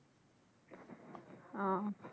ও।